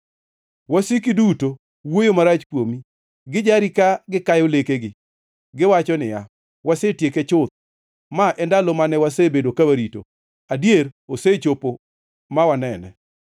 Wasiki duto wuoyo marach kuomi; gijari ka gikayo lekegi kagiwacho niya, “Wasetieke chuth. Ma e ndalo mane wasebedo ka warito; adier, osechopo ma wanene.”